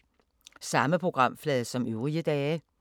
Samme programflade som øvrige dage